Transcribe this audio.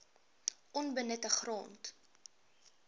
onbenutte grond